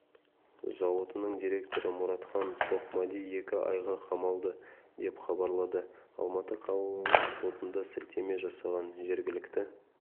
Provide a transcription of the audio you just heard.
зауытының директоры мұратхан тоқмади екі айға қамалды деп хабарлады алматы қалалық сотына сілтеме жасаған жергілікті